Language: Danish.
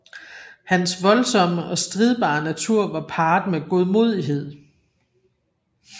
Hans voldsomme og stridbare natur var parret med godmodighed